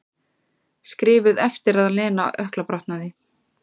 Skrifuð eftir að Lena ökklabrotnaði.